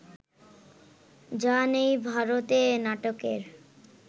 যা নেই ভারতে নাটকের